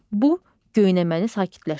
Bu, göynəməni sakitləşdirir.